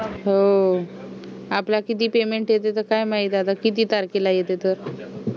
हो आपला किती payment येते तर काय माहित आता किती तारखेला आहे ते तर